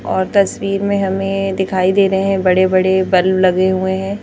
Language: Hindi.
और तस्वीर में हमें दिखाई दे रहे हैं बड़े-बड़े बल्ब लगे हुए हैं।